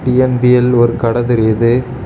TNPL ஒரு கட தெரியுது.